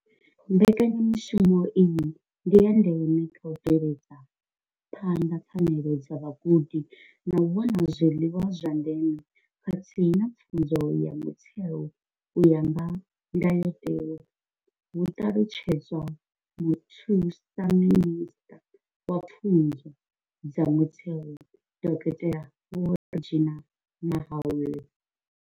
Mbekanyamushumo iyi ndi ya ndeme kha u bveledza phanḓa pfanelo dza vhagudi dza u wana zwiḽiwa zwa ndeme khathihi na pfunzo ya mutheo u ya nga ndayotewa, hu ṱalutshedza muthusa minisṱa wa pfunzo dza mutheo, dokotela Vho Reginah Mhaule.